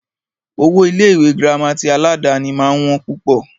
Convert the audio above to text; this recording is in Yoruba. Owó Ilé ìwé gírámà tí aládàni máà ń wọ́n púpọ̀.